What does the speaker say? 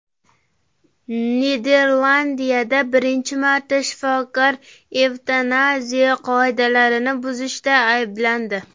Niderlandiyada birinchi marta shifokor evtanaziya qoidalarini buzishda ayblandi.